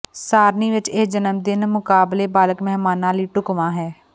ਸਾਰਣੀ ਵਿੱਚ ਇਹ ਜਨਮ ਦਿਨ ਮੁਕਾਬਲੇ ਬਾਲਗ ਮਹਿਮਾਨਾਂ ਲਈ ਢੁਕਵਾਂ ਹੈ